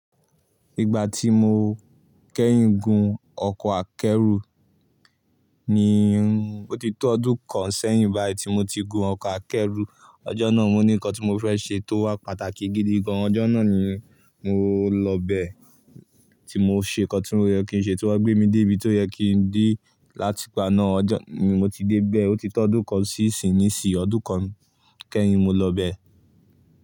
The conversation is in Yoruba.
Ìgbà tí mo kẹ́yìn gun ọkọ̀ akẹ́rù ni, o ti tó ọdún kan sẹ́yìn báyìí tí mo ti gun ọkọ̀ akẹ́rù. Ọjọ́ náà mo ní nǹkan tí mo fẹ́ ṣe tó wà pàtàkì gidi gan. Ọjọ́ náà ni mo lọ bẹ̀ tí mo ṣe nǹkan tí ó yẹ kí n ṣe, tí wọ́n gbé mi dé ibi tó yẹ kí n dé láti paná. Ọjọ́ ni mo ti dé bẹ̀, o ti tó ọdún kan sí ìsiníìsí, ọdún kan kẹ́yìn mo lọ bẹ̀